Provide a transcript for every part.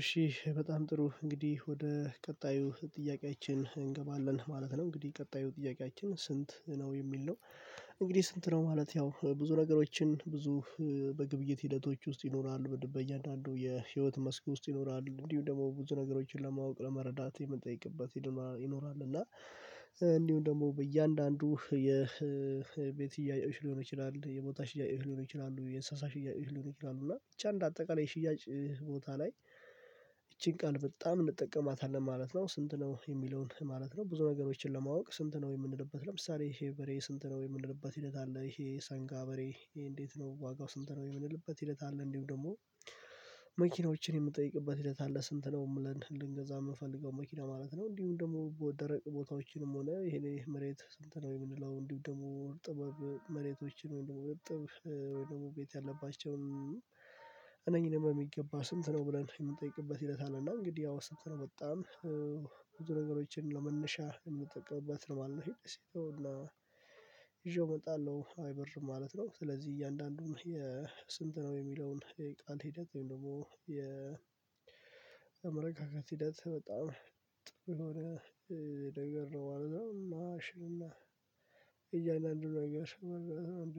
እሺ በጣም ጥሩ እንግዲህ ወደ ቀጣዩ ጥያቄያችን እንገባለን ማለት ነው እንግዲህ ቀጣዩ ጥያቄያችን ስንት ነው የሚል ነው? እንግዲህ ስንት ነው ማለት ያው ብዙ ነገሮችን ብዙ በግብይት ሂደቶች ውስጥ ይኖራሉ በእያንዳንዱ የህይወት መስክ ውስጥ ይኖራሉ እንዲሁም ደግሞ ብዙ ነገሮችን ለማወቅ ለመረዳት የምንጠይቅበት ይኖራል። እና እንዲሁም ደግሞ በእያንዳንዱ የቤት ሽያጭ ሊሆን ይችላል የቦታ ሽያጭ ሊሆን ይችላል የእንስሳ ሽያጭ ልሆን ይችላል እና ብቻ እንደአጠቃላይ የሽያጭ ቦታ ላይ ይቺን ቃል በጣም እንጠቀማታለን ማለት ነው። ስንት ነው የሚለውን ማለት ነው ብዙ ነገሮችን ለማወቅ ስንት ነው የምንልበት ለምሳሌ ይሄ በሬ ስንት ነው የምንልበት ሂደት አለ ይሄ የሳንጋ በሬ ይሄ እንዴት ነው ዋጋው ስንት ነው የምንልበት ሂደት አለ። እንዲሁ ደግሞ መኪናዎችን የምንጠይቅበት ሂደት አለ ስንት ነው እንላለል ልንገዛ የምንፈልገው መኪና ማለት ነው። እንዲሁም ደግሞ ደረቅ ቦታዎችንም ሆነ ይሄን መሬት ስንተና ነው የምንለው እንዲህ ደግሞ ጥበብ መሬቶችን ነው ወይምደግሞ ርጥብ ወይ ደግሞ ቤት ያለባቸውን እነኚህን በሚገባ ስንት ነው ብለን የምንጠይቅበት ሂደት አለ። እና እንግዲህ ያው ስንት ነው ወጣን ብዙ ነገሮችን ለመነሻ የምጠቅምበት ነው ማለት ነው ይሄ ተውላ ይዤው እመጣለሁ አይበር ማለት ነው። ስለዚህ እያንዳንዱን የስንት ነው የሚለውን የቃን ሂደት ወይም ደግሞ የመረጋጋት ሂደት በጣም ጥሩ የሆነ ነገር ነው ማለት ነው። እና የእያንዳንዱ ሆይ አለው አንድ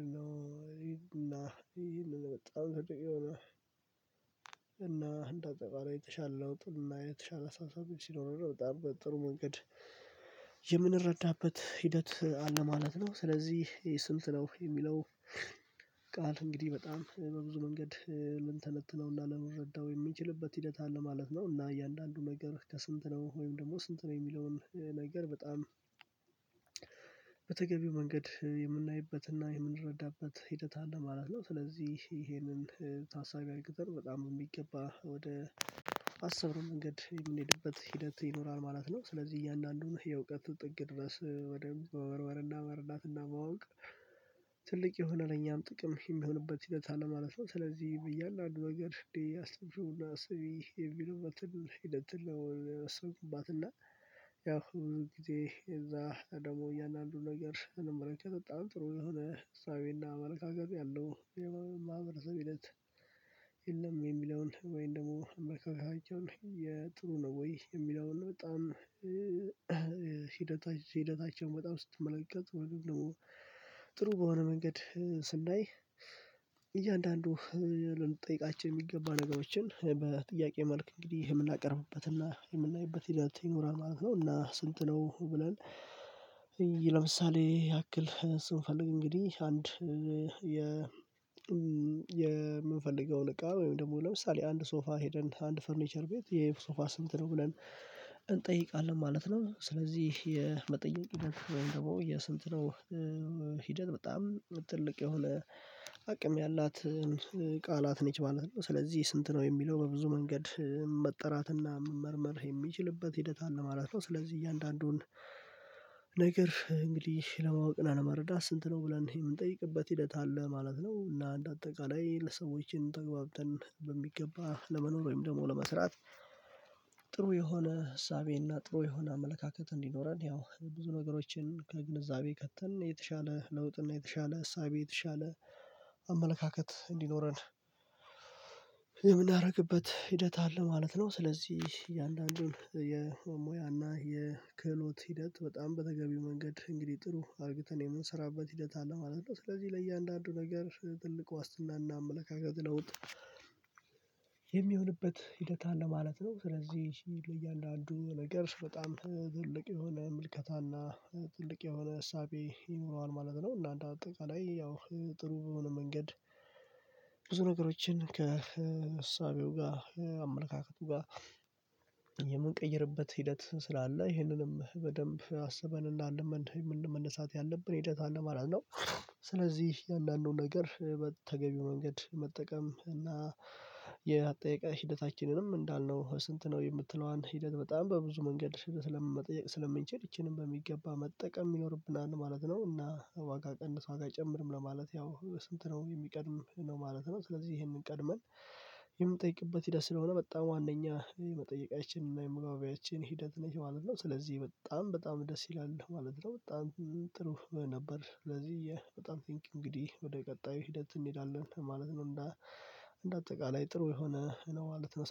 እና ይሄን ለመጣል የሆነ እና እንደ አጠቃላይ የተሻለ ለውጥ የተሻለ አሳሳቢ ሲኖረው በጣም በጥሩ መንገድ የምንረዳበት ሂደት አለ ማለት ነው። ስለዚህ ይሄ ስልት ነው የሚለው ቃል እንግዲህ በጣም በብዙ መንገድ ልንተነትነው ልንረዳው የምንችልበት ሂደት አለ ማለት ነው። እና እያንዳንዱ ነገር ከስንት ነው ወይም ደግሞ ስንት ነው የሚለውን ነገር በጣም በተገቢው መንገድ የምናይበትና የምንረዳበት ሂደት አለ ማለት ነው። ስለዚህ ይሄንን ታሳቢ አድርገን በጣም የሚገባ ወደ አሰብነው መንገድ የምንሄድበት ሂደት ይኖራል ማለት ነው። ስለዚህ እያንዳንዱን የእውቀት ጥግ ድረስ ወደ መመርመርና መረዳትና ማወቅ የሆነ ለኛም ጥቅም የሚሆንበት ሂደት አለ ማለት ነው። ስለዚህ እያንዳንዱ ነገር እንዴ አስተምሽውና አስቢ የሚለው መጥል ሂደት ትል አስብኩባትና ያው ብዙ ጊዜ እዛ ደግሞ እያንዳንዱን ነገር እንመረጥ በጣም ጥሩ የሆነ እሳቤና አመለካከት ያለው የማህበረሰብ ሂደት የለም። የሚለውን ወይንም ደግሞ መከፋፈል የጥሩ ነው ወይ የሚለውን በጣም ሂደታቸውን በጣም ስትመለከቱ ጥሩ በሆነ መንገድ ስናይ እያንዳንዱ ልንጠይቃችሁ የሚገባ ነገሮችን በጥያቄ መልክ እንግዲህ የምናቀርብበትና የምናይበት ሂደት ይኖራል ማለት ነው። እና ስንት ነው ብለን ለምሳሌ ያክል ስንፈልግ እንግዲህ አንድ የምንፈልገውን እቃ ወይም ደግሞ ለምሳሌ አንድ ሶፋ ሄደን አንድ ፈርኒቸር ቤት ይሄ ሶፋ ስንት ነው ብለን እንጠይቃለን ማለት ነው። ስለዚህ የመጠየቅ ሂደት ወይም ደግሞ የስንት ነው ሂደት በጣም ትልቅ የሆነ አቅም ያላት ቃላት ነች ማለት ነው ስለዚህ ስንት ነው የሚለው በብዙ መንገድ መጠራትና መመርመር የሚችልበት ሂደት አለ ማለት ነው። ስለዚህ እያንዳንዱን ነገር እንግዲህ ለማወቅ እና ለመረዳት ስንት ነው ብለን የምንጠይቅበት ሂደት አለ ማለት ነው። እና እንደ አጠቃላይ ለሰዎችን ተግባብተን በሚገባ ለመኖር ወይም ደግሞ ለመስራት ጥሩ የሆነ ዕሳቤና ጥሩ የሆነ አመለካከት እንዲኖረን ያው ብዙ ነገሮችን ከግንዛቤ ከተን የተሻለ ለውጥ እና የተሻለ እሳቤ የተሻለ አመለካከት እንዲኖረን የምናደርግበት ሂደት አለ ማለት ነው። ስለዚህ እያንዳንዱን የሙያና የክህሎት ሂደት በጣም በተገቢው መንገድ እንግዲህ ጥሩ አርግተን የምንሰራበት ሂደት አለ ማለት ነው። ስለዚህ ለእያንዳንዱ ነገር ትልቅ ዋስትናና አመለካከት ለውጥ የሚሆንበት ሂደት አለ ማለት ነው ስለዚህ ለእያንዳንዱ ነገር በጣም ትልቅ የሆነ ምልከታና ትልቅ የሆነ እሳቤ ይኖረዋል ማለት ነው። እና አንደአጠቅላይ ያው ጥሩ በሆነ መንገድ ብዙ ነገሮችን ከእሳቤው ጋር አመለካከቱ ጋር የምንቀይርበት ሂደት ስላለ ይህንንም በደንብ አስበን መነሳት ያለብን ሂደት አለ ማለት ነው። ስለዚህ እያንዳንዱ ነገር በተገቢው መንገድ መጠቀም እና የአጠያየቅ ሂደታችንንም እንዳልነው ስንት ነው የምትለዋን ሂደት በጣም በብዙ መንገድ መጠየቅ ስለምንችል ይቺንም በሚገባ መጠቀም ይኖርብናል ማለት ነው። እና ዋጋ ቀንስ ዋጋ ጨምርም ለማለት ያው ስንት ነው የሚቀድም ነው ማለት ነው። ስለዚህ ይሄንን ቀድመን የምንጠይቅበት ሂደት ስለሆነ በጣም ዋነኛ የመጠየቃችን እና የመግባቢያችን ሂደት ነች ማለት ነው። ስለዚህ በጣም በጣም ደስ ይላል ማለት ነው። በጣም ጥሩ ነበር ስለዚህ በጣም ቲንኪው እንግዲህ ወደ ቀጣዩ ሂደት እንሄዳለን ማለት ነው። እንደ አጠቃላይ ጥሩ የሆነ ነው ማለት ነው